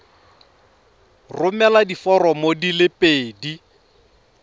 romela diforomo di le pedi